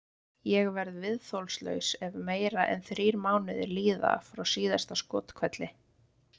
Ég verð viðþolslaus ef meira en þrír mánuðir líða frá síðasta skothvelli.